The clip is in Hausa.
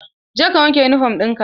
Je ka wanke yunifom ɗin ka!